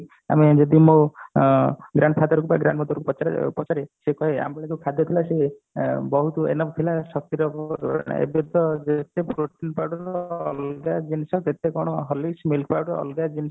ଆମେ ଯଦି ମୋ ଅ grand father ବା grand mother କୁ ପଚାରିବା ସେ କହିବୀ ଆମ ବେଳେ ଯୋଉ ଖାଦ୍ୟ ଥିଲା ସେ ଏ ବହୁତ enough ଥିଲା ଶକ୍ତି ଏବେ ତ protein powder ଅଲଗା ଜିନିଷ କେତେ horlicks milk powder ଅଲଗା